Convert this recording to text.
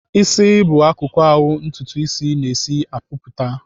Ịsị bụ akụkụ ahụ ntụtụ isis na-esi apụta.